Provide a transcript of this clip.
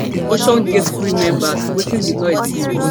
oceangate crew members wetin di noise be